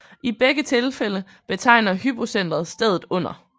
I begge tilfælde betegner hypocentret stedet under